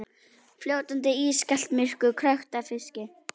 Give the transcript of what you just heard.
Fljótandi, ískalt myrkur, krökkt af fiski.